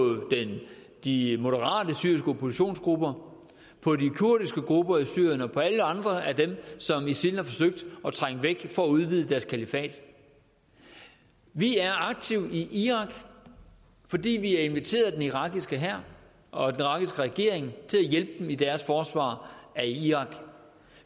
de moderate syriske oppositionsgrupper på de kurdiske grupper i syrien og på alle andre af dem som isil har forsøgt at trænge væk for at udvide deres kalifat vi er aktive i irak fordi vi er inviteret af den irakiske hær og den irakiske regering til at hjælpe dem i deres forsvar af irak